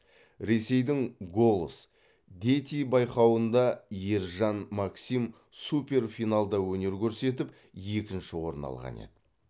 ресейдің голос дети байқауында ержан максим суперфиналда өнер көрсетіп екінші орын алған еді